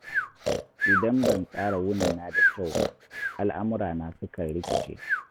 Idan ban tsara wunina da kyau ba, al'amurana sukan rikice.